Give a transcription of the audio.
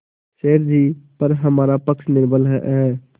सेठ जीपर हमारा पक्ष निर्बल है